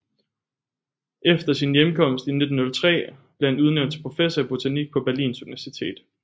Efter sin hjemkomst i 1903 blev han udnævnt til professor i botanik på Berlins Universitet